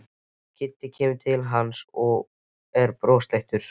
Kiddi kemur til hans og er brosleitur.